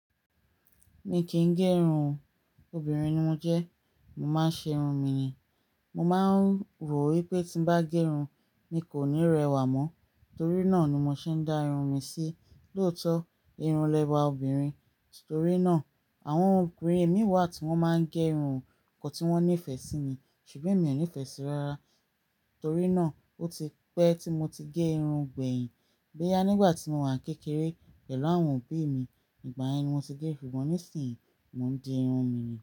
Mi kì í gé irun. Obìnrin ni mo jẹ́, mo máa ń ṣe irun mi ni. Mo máa ń rò wí pé tí bá gé irun, mi kò ní rẹwà mọ́. Torí náà ni mo ṣe ń dá irun mi sí. Lóòótọ́, irun lẹwa obìnrin, torí náà àwọn obìnrin mí wà tí wọ́n máa ń gé irun, nǹkan tí wọ́n nífẹ̀ẹ́ sí ni. Ṣùgbọ́n emi ò nífẹ̀ẹ́ sí i rárá. Torí náà ó ti pẹ́ tí mo ti gé irun gbẹ̀yìn. Bo ya nígbà tí mo wà kékeré pẹ̀lú àwọn òbí mi. Ìgbà yen ni mo ti gé, ṣùgbọ́n nísìínyi mo ń di irun mi ni.